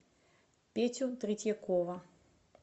петю третьякова